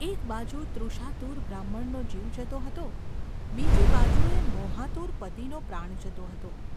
એક બાજુ તૃષાતુર બ્રાહ્મણનો જીવ જતો હતો, બીજી બાજુએ મોહાતુર પતિનો પ્રાણ જતો હતો.